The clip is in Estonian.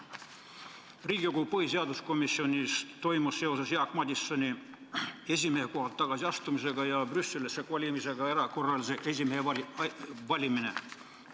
Riigikogu põhiseaduskomisjonis toimus seoses Jaak Madisoni esimehe kohalt tagasiastumisega ja Brüsselisse kolimisega erakorraline esimehe valimine.